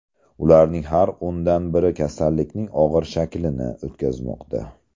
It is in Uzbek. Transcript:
Ularning har o‘ndan biri kasallikning og‘ir shaklini o‘tkazmoqda.